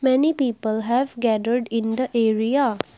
many people have gathered in the area.